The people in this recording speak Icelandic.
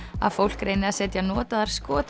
að fólk reyni að setja notaðar